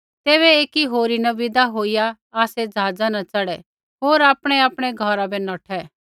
तैबै एकी होरी न विदा होईया आसै ज़हाज़ा न च़ढ़ै होर आपणैआपणै घौरा बै नौठै